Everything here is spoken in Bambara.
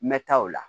N bɛ taa o la